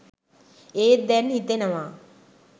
ඒත් දැන් හිතෙනවා